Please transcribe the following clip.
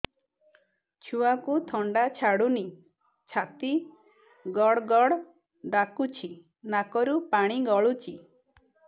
ଛୁଆକୁ ଥଣ୍ଡା ଛାଡୁନି ଛାତି ଗଡ୍ ଗଡ୍ ଡାକୁଚି ନାକରୁ ପାଣି ଗଳୁଚି